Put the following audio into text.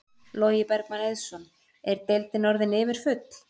Logi Bergmann Eiðsson: Er deildin orðin yfirfull?